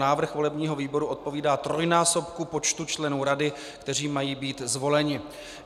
Návrh volebního výboru odpovídá trojnásobku počtu členů rady, kteří mají být zvoleni.